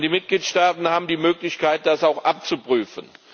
Und die Mitgliedstaaten haben die Möglichkeit, das auch abzuprüfen.